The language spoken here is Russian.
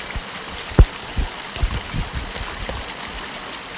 у тебя есть кино синий трактор